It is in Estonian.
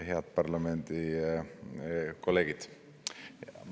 Head parlamendikolleegid!